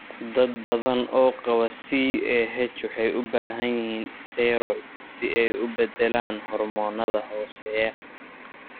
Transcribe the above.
Dad badan oo qaba CAH waxay u baahan yihiin steroids si ay u beddelaan hormoonnada hooseeya.